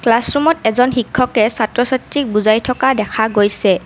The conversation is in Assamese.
ক্লাছ ৰুমত এজন শিক্ষকে এজন ছাত্ৰ ছাত্ৰীক বুজাই থকা দেখা গৈছে।